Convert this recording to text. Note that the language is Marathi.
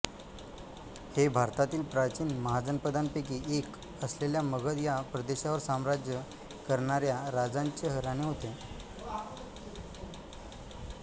हे भारतातील प्राचीन महाजनपदांपैकी एक असलेल्या मगध या प्रदेशावर साम्राज्य करणार्या राजांचे घराणे होते